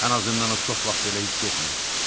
Ən azından o çox vaxt belə hiss etmirdi.